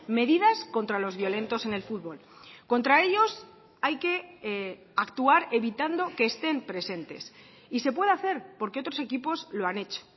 medidas contra los violentos en el fútbol contra ellos hay que actuar evitando que estén presentes y se puede hacer porque otros equipos lo han hecho